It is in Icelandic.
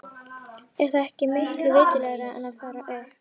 Er það ekki miklu viturlegra en að fara upp?